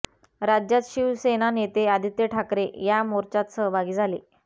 राज्यात शिवसेना नेते आदित्य ठाकरे या मोर्चात सहभागी झाले